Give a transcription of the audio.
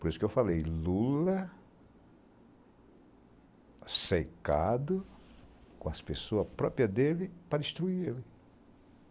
Por isso que eu falei, Lula cercado com as pessoas próprias dele para destruir ele.